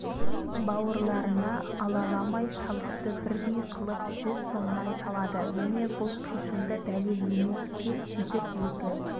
бауырларына алаламай салықты бірдей қылып жүз сомнан салады міне бұл қисынды дәлел емес пе сөйтіп екі